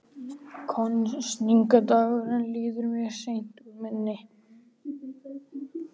Kosningadagurinn líður mér seint úr minni.